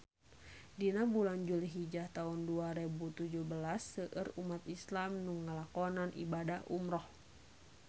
Dina bulan Julhijah taun dua rebu tujuh belas seueur umat islam nu ngalakonan ibadah umrah